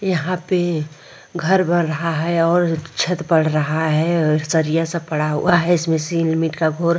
यहाँ पे घर बना रहा है और छत पड रहा है और सरिया सब पड़ा हुआ है। इसमें सिलमित का --